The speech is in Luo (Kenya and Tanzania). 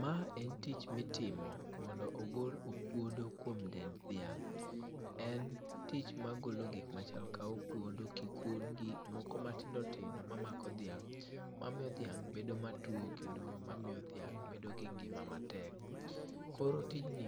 Ma en tich mitimo mondo ogol okuodo kuom dend dhiang'. En tich magolo gikmachal ka okuodo, kikun gi moko matindotindo mamako dhiang' mamiyo dhiang' bedo matuo kendo mamiyo dhiang' bedo gi ngima matek. Koro tijni